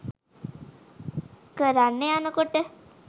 කරන්න යනකොට